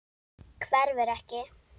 Hverfur ekki.